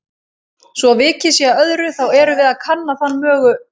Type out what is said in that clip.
Svo vikið sé að öðru, þá erum við að kanna þann mögu